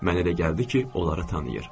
Mənə elə gəldi ki, onları tanıyır.